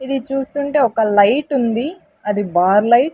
ఇది చూస్తుంటే ఒక లైటు ఉంది అది బార్ లైట్ .